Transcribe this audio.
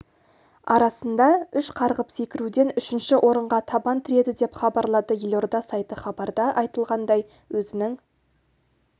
арасында үш қарғып секіруден үшінші орынға табан тіреді деп хабарлады елорда сайты хабарда айтылғандай өзінің